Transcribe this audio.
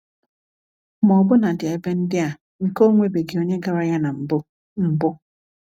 Ma ọbụnadi ebe ndị a nke ọ nwebeghị onye gara ya na mbu. mbu.